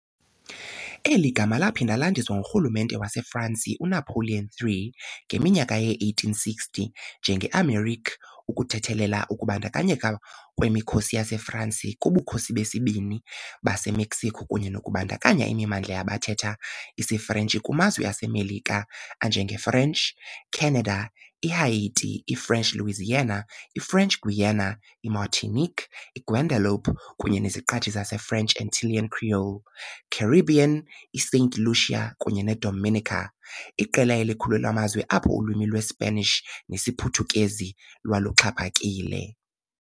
Eli gama laphinda landiswa ngurhulumente waseFransi uNapoleon III ngeminyaka yee-1860 njengeAmérique ukuthethelela ukubandakanyeka kwemikhosi yaseFransi kuBukhosi beSibini baseMexico kunye nokubandakanya imimandla yabathetha isiFrentshi kumazwe aseMelika anjengeFrench Canada, iHaiti, iFrench Louisiana, iFrench Guiana, iMartinique, iGuadeloupe kunye neziqithi zaseFrench Antillean Creole Caribbean iSaint Lucia, kunye neDominica, iqela elikhulu lamazwe apho ulwimi lweSpanish nesiPhuthukezi lwaluxhaphakile.